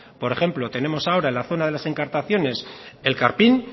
por ejemplo tenemos ahora en la zona de las encartaciones el karpin